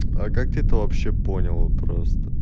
а как ты то вообще понял просто